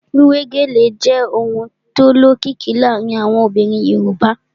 Wíwé gèlè jẹ́ ohun tó lókìkí láàárín àwọn obìnrin Yorùbá